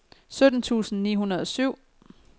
sytten tusind ni hundrede og syv